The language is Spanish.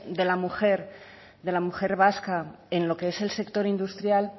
de la mujer vasca en lo que es el sector industrial